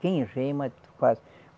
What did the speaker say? Quem rema, faz.